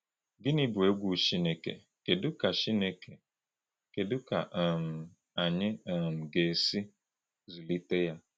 Gịnị bụ egwu Chineke, kedu ka Chineke, kedu ka um anyị um ga-esi zụlite ya?